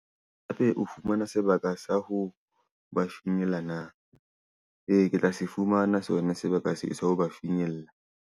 Haebe o fumana sebaka sa ho ba finyella na? Ee, ke tla se fumana sona sebaka sa ho ba finyella.